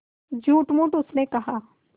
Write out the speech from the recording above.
झूठमूठ उसने कहा